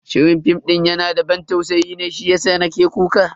Shirin fim din yana da ban tausayi ne shiyasa nake kuka.